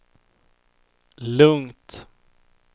lugnt